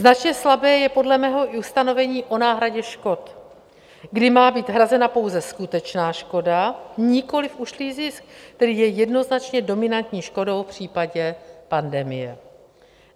Značně slabé je podle mého i ustanovení o náhradě škod, kdy má být hrazena pouze skutečná škoda, nikoli ušlý zisk, který je jednoznačně dominantní škodou v případě pandemie.